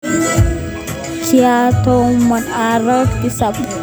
Kiatomono aroeek tisab.